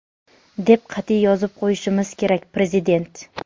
deb qatʼiy yozib qo‘yishimiz kerak – Prezident.